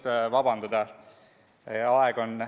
Pole põhjust vabandada.